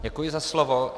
Děkuji za slovo.